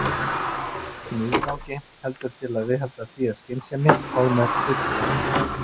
Ekki með yfirgangi, heldur til að viðhalda því af skynsemi og með hluttekningu.